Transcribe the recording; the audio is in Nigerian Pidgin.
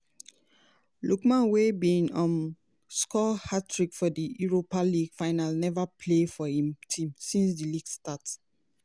lookman wey bin um score hattrick for di europa league final neva play for im team since di league start.